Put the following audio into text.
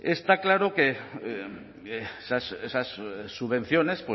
está claro que esas subvenciones